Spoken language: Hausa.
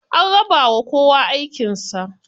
An rabawa kowa aikin sa.